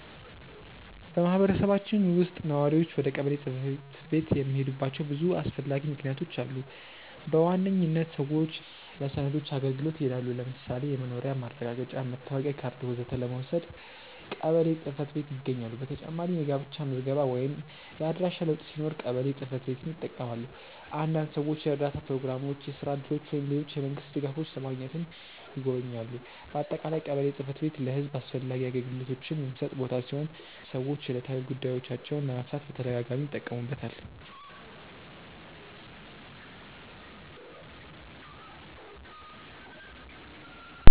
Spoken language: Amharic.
በማህበረሰባችን ውስጥ ነዋሪዎች ወደ ቀበሌ ጽ/ቤት የሚሄዱባቸው ብዙ አስፈላጊ ምክንያቶች አሉ። በዋነኝነት ሰዎች ለሰነዶች አገልግሎት ይሄዳሉ። ለምሳሌ የመኖሪያ ማረጋገጫ፣ መታወቂያ ካርድ ወዘተ ለመውሰድ ቀበሌ ጽ/ቤት ይጎበኛሉ። በተጨማሪም የጋብቻ ምዝገባ ወይም የአድራሻ ለውጥ ሲኖር ቀበሌ ጽ/ቤትን ይጠቀማሉ። አንዳንድ ሰዎች የእርዳታ ፕሮግራሞች፣ የስራ እድሎች ወይም ሌሎች የመንግስት ድጋፎች ለማግኘትም ይጎበኛሉ። በአጠቃላይ ቀበሌ ጽ/ቤት ለህዝብ አስፈላጊ አገልግሎቶችን የሚሰጥ ቦታ ሲሆን ሰዎች ዕለታዊ ጉዳዮቻቸውን ለመፍታት በተደጋጋሚ ይጠቀሙበታል።